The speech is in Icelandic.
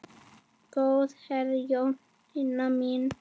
Góða ferð Jónína mín.